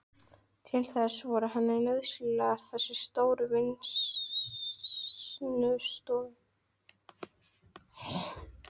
Til þess voru henni nauðsynlegar þessar stóru vinnustofur.